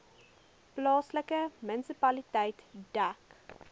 plaaslike munisipaliteit dek